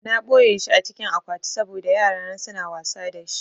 Na ɓoyeshi a cikin akwati saboda yarana suna wasa da shi